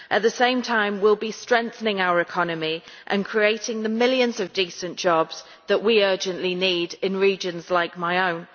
At the same time, we will be strengthening our economy and creating the millions of decent jobs that we urgently need in regions like my own.